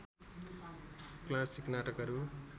classic नाटकहरू